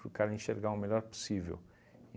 Para o cara enxergar o melhor possível.